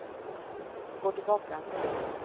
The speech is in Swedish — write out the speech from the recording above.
gå tillbaka